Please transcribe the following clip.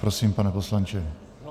Prosím, pane poslanče.